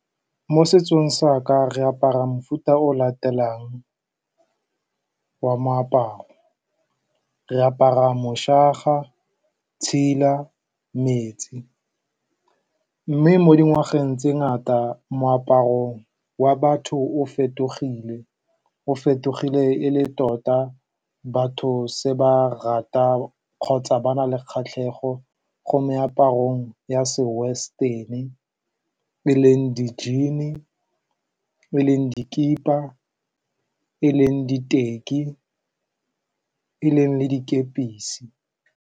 Mo setsong sa ka re apara mofuta o o latelang wa moaparo. Re apara tshela metsi, mme mo dingwageng tse di ngata, moaparong wa batho o fetogile. O fetogile e le tota batho setse ba rata kgotsa ba na le kgatlhego mo meaparong ya se western-e, e e leng di-jean-i, e e leng dikipa, e e leng diteki, e e leng dikepisi.